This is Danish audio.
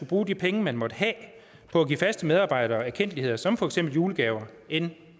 bruge de penge man måtte have på at give faste medarbejdere erkendtligheder som for eksempel julegaver inden